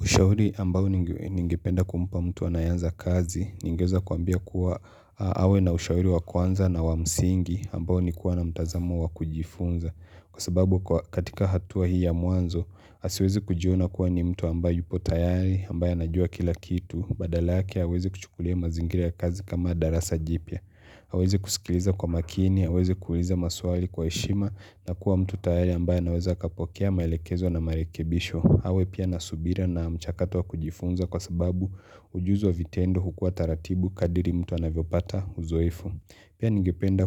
Ushauri ambao ningependa kumpa mtu anayeanza kazi, ningeweza kuambia kuwa awe na ushauri wa kuanza na wa msingi ambao nikuwa na mtazamo wa kujifunza. Kwa sababu katika hatua hii ya mwanzo, asiweze kujiona kuwa ni mtu ambaye yupo tayari, ambaye anajua kila kitu, badalake aweze kuchukulia mazingira ya kazi kama darasa jipya. Awezi kusikiliza kwa makini, awezi kuuliza maswali kwa heshima na kuwa mtu tayari ambaye anaweza akapokea maelekezo na marekebisho. Awe pia na subira na mchakatu wa kujifunza kwa sababu ujuzi vitendo hukua taratibu kadiri mtu anavyopata uzoefu. Pia ningependa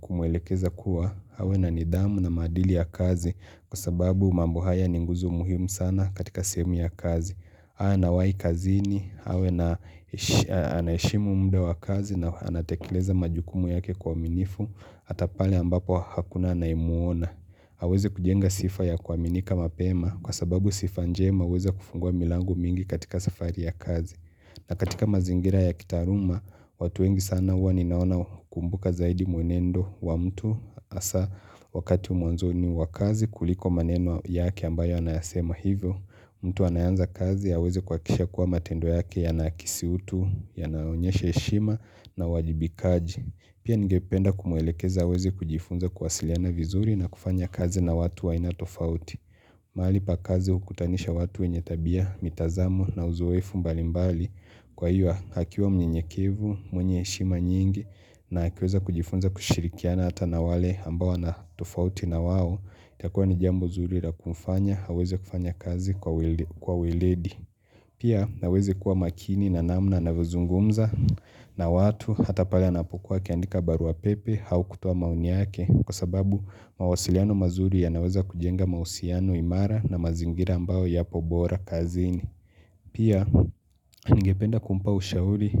kumwelekeza kuwa awe na nidhamu na maadili ya kazi kwa sababu mambo haya ni nguzo muhimu sana katika sehemu ya kazi. Haa anawahi kazini, awe na anaheshimu mda wa kazi na anatekeleza majukumu yake kwa uaminifu, hata pale ambapo hakuna anayemuona. Aweze kujenga sifa ya kuaminika mapema kwa sababu sifa njema huweza kufungua milango mingi katika safari ya kazi. Na katika mazingira ya kitaaluma, watu wengi sana huwa ninaona hukumbuka zaidi mwenendo wa mtu hasaa wakati mwanzoni wa kazi kuliko maneno yake ambayo anayasema hivyo. Mtu anayeanza kazi aweze kuhakikisha kuwa matendo yake yanakisi utu, yanaonyesha heshima na wajibikaji. Pia ningependa kumwelekeza aweze kujifunza kuwasiliana vizuri na kufanya kazi na watu aina tofauti. Mahali pa kazi hukutanisha watu wenye tabia, mitazamu na uzoefu mbalimbali. Kwa hiyo akiwa mnyenyekevu, mwenye heshima nyingi na akiweza kujifunza kushirikiana hata na wale ambao wana tofauti na wao. Itakuwa ni jambo zuri la kumfanya, aweze kufanya kazi kwa weledi Pia aweze kuwa makini na namna anavyozungumza na watu hata pale anapokuwa akiandika barua pepe au kutoa maoni yake Kwa sababu mawasiliano mazuri yanaweza kujenga mahusiano imara na mazingira ambayo yapo bora kazini Pia Ningependa kumpa ushauri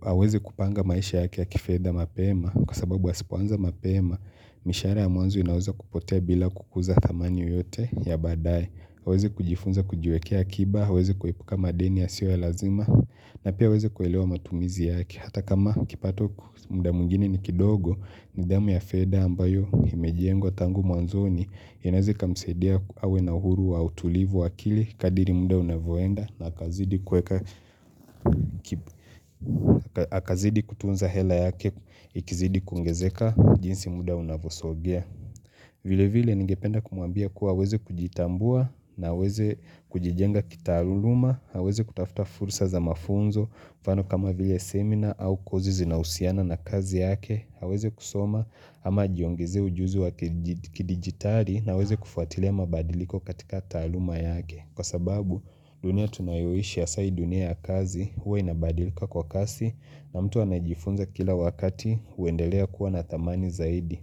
aweze kupanga maisha yake ya kifedha mapema Kwa sababu asipoanza mapema, mishahara ya mwanzo inaweza kupotea bila kukuza thamani yoyote ya baadae aweze kujifunza kujiwekea akiba, aweze kuepuka madeni yasiyo ya lazima na pia aweze kuelewa matumizi yake Hata kama kipato kwa muda mwingini ni kidogo, nidhamu ya fedha ambayo imejengwa tangu mwanzoni inaweza ikamsaidia awe na huru wa utulivu wa kili, kadiri muda unavyonda na hakazidi kutunza hela yake ikizidi kuongezeka jinsi muda unavosogea. Vile vile ningependa kumwambia kuwa aweze kujitambua na aweze kujijenga kitaluluma, aweze kutafta fursa za mafunzo, mfano kama vile seminar au kozi zinahusiana na kazi yake, aweze kusoma ama ajiongezee ujuzu wa kidigitali na aweze kufuatile mabadiliko katika taluma yake. Kwa sababu dunia tunayoishi hasaa hii dunia ya kazi huwa inabadilika kwa kasi na mtu anajifunza kila wakati kuendelea kuwa na thamani zaidi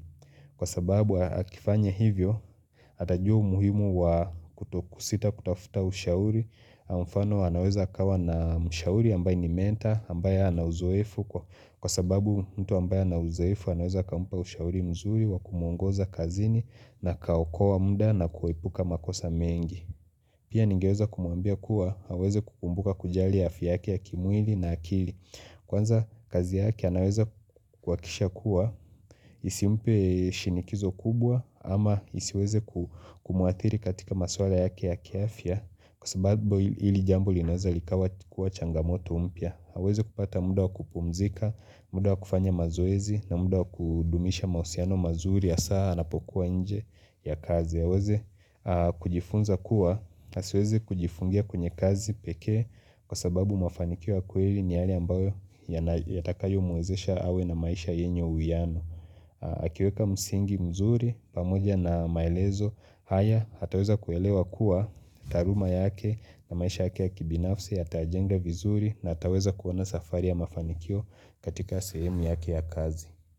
Kwa sababu akifanya hivyo atajua umuhimu wa kutokusita kutafuta ushauri Kwa mfano anaweza akawa na ushauri ambaye ni menta ambaye ana uzoefu Kwa sababu mtu ambaye ana uzoefu anaweza kumpa ushauri mzuri wa kumwongoza kazini na kaukoa muda na kuepuka makosa mengi Pia ningeweza kumwambia kuwa, aweze kukumbuka kujali afya yake ya kimwili na akili Kwanza kazi yake anaweza kuhakikisha kuwa, isimpe shinikizo kubwa ama isiweze kumwathiri katika maswala yake ya kiaafya Kwa sababu hili jambo linaweza likawa kukua changamoto mpya aweze kupata muda wa kupumzika, muda wa kufanya mazoezi na muda wa kudumisha mausiano mazuri hasaa anapokuwa nje ya kazi aweze kujifunza kuwa na asiweze kujifungia kwenye kazi pekee kwa sababu mafanikio ya kweli ni yale ambayo yatakayo muwezesha awe na maisha yenyo uyanu akiweka msingi mzuri pamoja na maelezo haya ataweza kuelewa kuwa taaluma yake na maisha yake ya kibinafsi yatajenga vizuri na hataweza kuona safari ya mafanikio katika sehemu yake ya kazi.